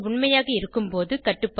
உண்மையாக இருக்கும்போது கட்டுபாடு